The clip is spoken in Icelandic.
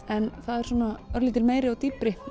en það er svona örlítil meiri og dýpri